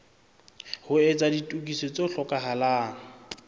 ho etsa ditokiso tse hlokahalang